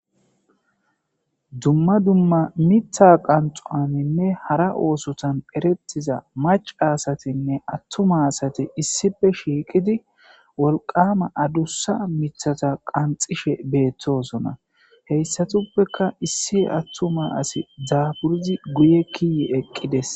Dumma dumma miththaa qanxxuwaaninne hara oosothan ereththiza macca asathinne aththuma assathi issippe shiiqidi wolqqaama adussa miththatha qanxxishe beeththoosona; he issathappekka issi aththuma asi daafuridi guyye kiyi eqqi des.